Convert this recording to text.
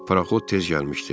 Paraxod tez gəlmişdi.